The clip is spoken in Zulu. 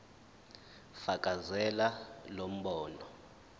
fakazela lo mbono